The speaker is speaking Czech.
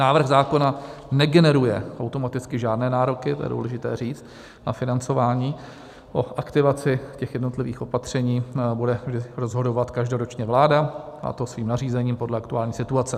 Návrh zákona negeneruje automaticky žádné nároky, to je důležité říct, na financování, o aktivaci těch jednotlivých opatření bude rozhodovat každoročně vláda, a to svým nařízením podle aktuální situace.